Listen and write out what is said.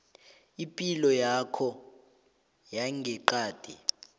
ipilo yakho yangeqadi